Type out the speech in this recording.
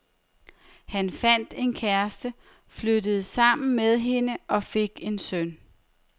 Han fandt en kæreste, flyttede sammen med hende og fik en søn.